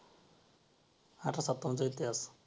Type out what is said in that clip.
अठराशे सत्तावन्नचा इतिहास